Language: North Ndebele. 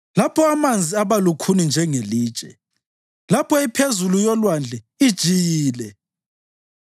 lapho amanzi abalukhuni njengelitshe, lapho iphezulu yolwandle ijiyile?